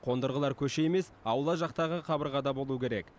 қондырғылар көше емес аула жақтағы қабырғада болу керек